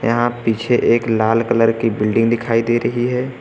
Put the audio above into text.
यहां पीछे एक लाल कलर की बिल्डिंग दिखाई दे रही है।